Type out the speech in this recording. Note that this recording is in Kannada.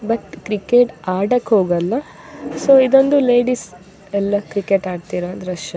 ಬಟ್ ಕ್ರಿಕೆಟ್ ಆಡಕ್ ಹೋಗಲ್ಲ ಸೊ ಇದೊಂದು ಲೇಡೀಸ್ ಎಲ್ಲ ಕ್ರಿಕೆಟ್ ಆಡುತ್ತಿರುವ ದೃಶ್ಯ --